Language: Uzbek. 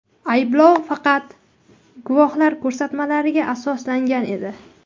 Ayblov faqat guvohlar ko‘rsatmalariga asoslangan edi.